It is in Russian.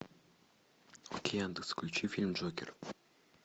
окей яндекс включи фильм джокер